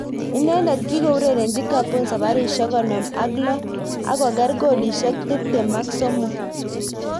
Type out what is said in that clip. Inendet kiko urerenji Gabon sabarishek konom ak lo ak koker kolishek tip tem ak somok.